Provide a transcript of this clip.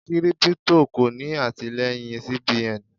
Kírípútò kò ní àtìleyìn CBN.